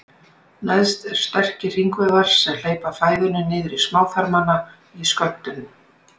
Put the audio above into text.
Neðst eru sterkir hringvöðvar sem hleypa fæðunni niður í smáþarmana í skömmtum.